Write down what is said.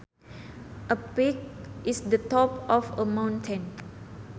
A peak is the top of a mountain